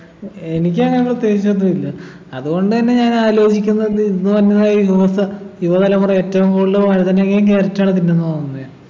ഏർ എനിക്കങ്ങനെ പ്രത്യേകിച്ചൊന്നും ഇല്ല അതുകൊണ്ടെന്നെ ഞാനാലോചിക്കുന്നത് ഇന്ന് വന്നമായിരി news യുവതലമുറ ഏറ്റവും കൂടുതല് വഴുതനങ്ങയും carrot ഉ ആണ് തിന്നുന്നത് വന്നെ